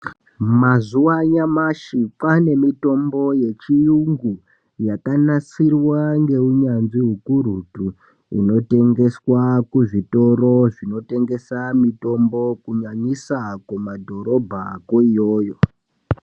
Mazuva anyamashi pane mitombo yechiungu yakanasirwa ngeunyatsvi ukurutu inotengeswe kuzvitoro zvinotengesa mitombo kunyanyisa kumadhorobha ko iyoyo.